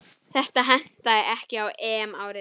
Þetta hentaði ekki á EM-ári.